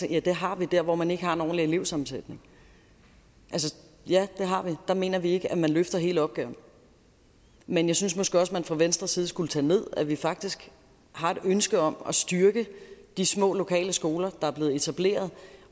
ja det har vi dér hvor man ikke har en ordentlig elevsammensætning ja det har vi der mener vi ikke at man løfter hele opgaven men jeg synes måske også man fra venstres side skulle tage ned at vi faktisk har et ønske om at styrke de små lokale skoler der er blevet etableret